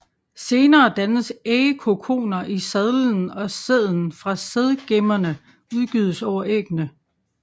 Senere dannes ægkokoner i sadelen og sæden fra sædgemmerne udgydes over æggene